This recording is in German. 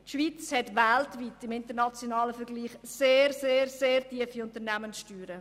Die Schweiz hat weltweit im nationalen Vergleich sehr tiefe Unternehmenssteuern.